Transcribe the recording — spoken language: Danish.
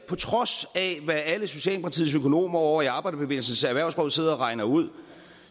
på trods af hvad alle socialdemokratiets økonomer ovre i arbejderbevægelsens erhvervsråd sidder og regner ud